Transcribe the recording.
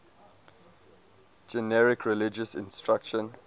generic religious instruction